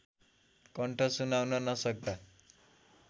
कण्ठ सुनाउन नसक्दा